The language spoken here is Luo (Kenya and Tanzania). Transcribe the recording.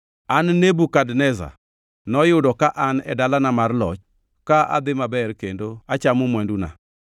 An Nebukadneza, noyudo ka an e dalana mar loch ka adhi maber kendo achano mwanduna.